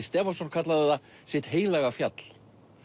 Stefánsson kallaði það sitt heilaga fjall